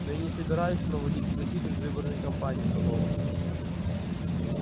но я не собираюсь проводить никаких предвыборных кампаний мэллоу